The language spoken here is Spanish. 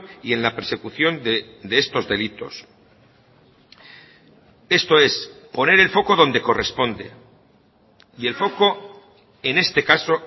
y en la persecución de estos delitos esto es poner el foco donde corresponde y el foco en este caso